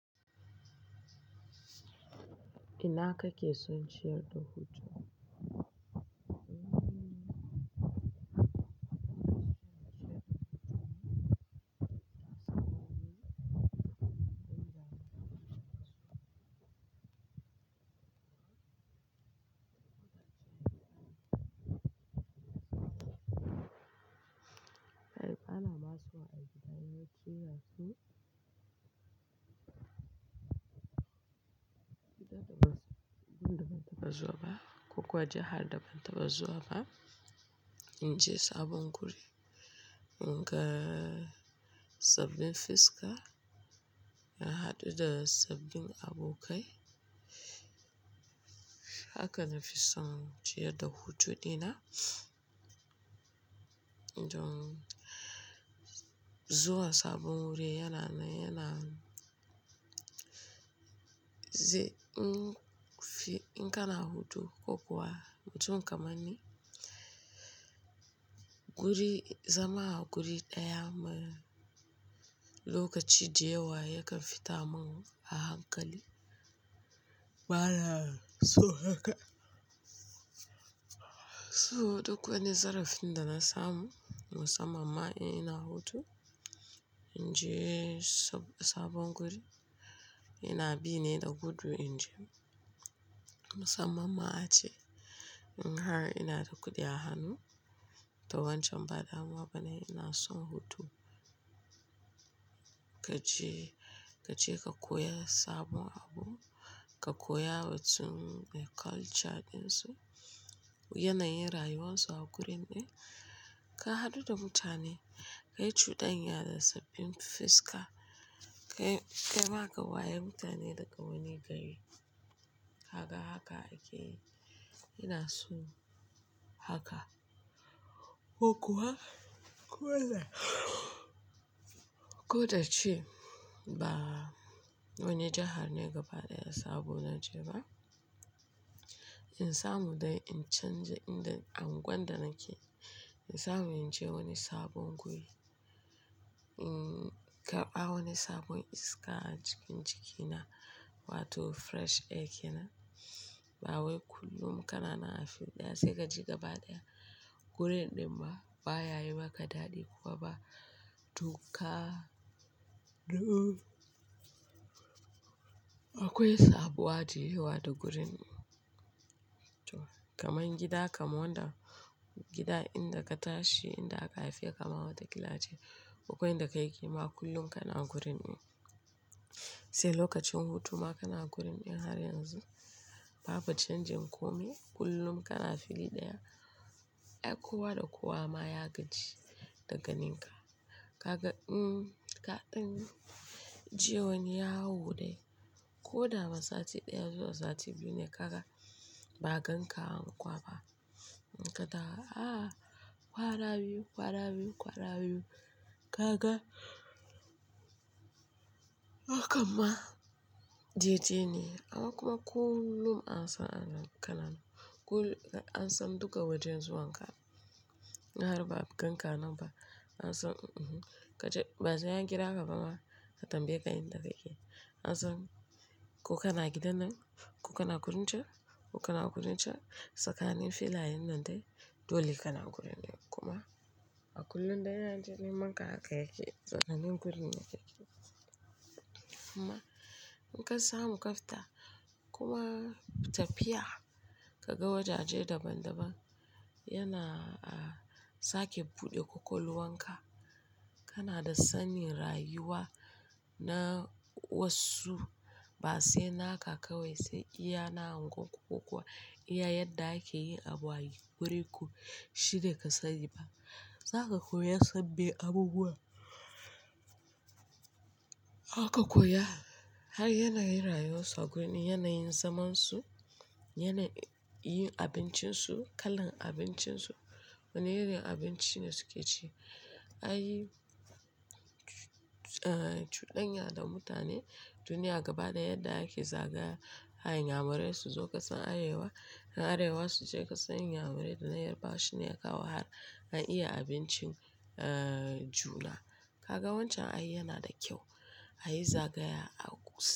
Ina ka ke son shirya hutu? Ana masu a gida ne kiya su, gidan da ba su, ban da ban tabba zuwa ba ko kuwa jihar da ban tabba zuwa ba. In je sabon guri, in ga sabbin fiska, na haɗu da sabbin abokai, haka na fi son shirya da hutu dina. Don zuwa sabon guri yana mai yana ze in fi, in kana hutu ko kuwa mutum ka manni guri, zaman a guri ɗaya mara lokaci da yawa yakan fita mun a hankali. Ba na so haka, so duk wani zarafin da na samu musamman ma in ina hutu, in je sabon guri ina bi ne da gudun in je musamman ma ace in har ina da kuɗi a hannu, da wancan bada waba ne ina son hutu. Ka je, ka je ka koya sabon abu, ka koya watsun culture ɗinsu, yanayin rayuwarsu a gurin din, ka haɗu da mutane, ka yi cuɗanya da sabbin fiska, ka, ka ma ka waye mutane daga wani gari. Haka, haka ake yi. Ina son haka ko kuwa ko da ko da ce ba wani jihar ne gaba ɗaya sabo na je ba, in samu dai in canji inda anguwan da nake, in samu in je wani sabon guri, in karɓa wani sabon iska a jikin jiki na wato fresh air kenan. Ba wai kullum kana nan a fil ɗaya sai ka je gaba ɗaya. Gurin ɗin ma ba ya yi maka daɗi kuwa ba duka. Akwai sabuwa da yiwuwa da gurin. To kamar gida kamar wanda gida inda ka tashi inda aka haife ka mama da kila ace ko inda ka yi ƙima kullum kana gurin in. Sai lokacin hutu ma kana gurin in har yanzu babu canjin kome kullum kana fili ɗaya. Ai kuwa da kowa ma ya gaji daga ninka. Ka ga mm, kaɗan je wani yawo dai ko dawa sati ɗaya zuwa sati biyu ne ka ga ba ganka anguwa. In ka da a kwara biyu, kwara biyu, kwara biyu ka ga, hakan ma JT ne. Akai kuma kullum an san ana kananu. Kul an san duka wajen zuwan ka. In har ba ganka nan ba an san mm-hm ka je, ba zan iya kira gaba ma ka tambaye ka in da ka ke. An san ko kana gidan nan, ko kana gurin can, ko kana gurin can. Tsakanin filayen nan dai dole kana gurin ne kuma a kullum da yanaje neman ka haka yake tsakanin guri ne yake. Kuma in ka samu ka fita kuma tafiya ka ga wajaje daban-daban yana a sake buɗe ƙwaƙwalwa ka. Kana da sanin rayuwa na wasu ba sai naka kawai sai iyana angon ku kuwa iya yadda ake yin abayi. Wuri ku shi da ka sani ba. Zaka koya sababbu abubuwa. Haka koya har yanayin rayuwarsu a gurin, yanayin zaman su, yanayi yin abincin su, kalan abincin su, wane irin abinci ne suke ci. Ayi cuɗanya da mutane duniya gaba da yadda ake zagaya. Ayi inyamurai su zo ƙasan arewa, in arewa su je ƙasan inyamurai da na yarbawa shine ya kawo har an iya abincin a juna. Ka ga wancan ayi yana da kyau. Ayi zagaya a kusa.